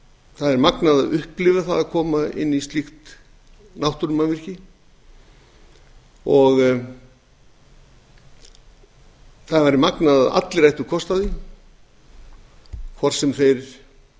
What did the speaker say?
það er magnað að upplifa það að koma inn í slíkt náttúrumannvirki og það væri magnað að allir ættu kost á því hvort sem þeir